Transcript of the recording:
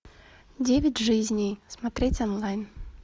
девять жизней смотреть онлайн